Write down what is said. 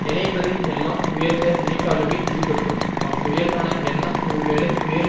நினைப்பது எல்லாம் உயர்ந்த நினைப்பாகவே இருக்கட்டும் அவ்வுயர்வான எண்ணம் ஒருவேளை வேறு